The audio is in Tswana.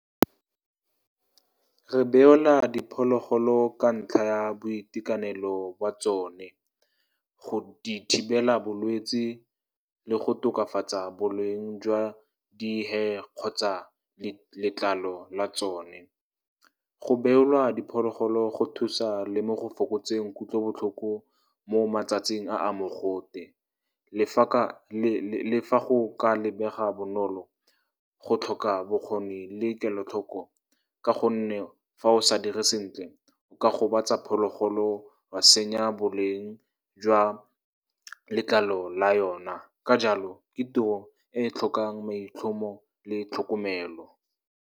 Re beola diphologolo ka ntlha ya boitekanelo jwa tsone, go di thibela bolwetsi le go tokafatsa boleng jwa di-hair kgotsa letlalo la tsone. Go beolwa diphologolo go thusa le mo go fokotseng kutlobotlhoko mo matsatsing a a mogote. Le fa go ka lebega bonolo, go tlhoka bokgoni le kelotlhoko, ka gonne fa o sa dire sentle, o ka gobatsa phologolo, wa senya boleng jwa letlalo la yona. Ka jalo, ke tiro e tlhokang maitlhomo le tlhokomelo.